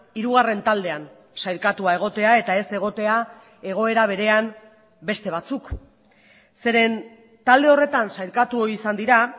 hirugarren taldean sailkatua egotea eta ez egotea egoera berean beste batzuk zeren talde horretan sailkatu izan dira